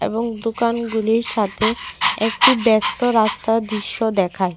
এবং দোকানগুলির সাথে একটি ব্যস্ত রাস্তার দৃশ্য দেখায়।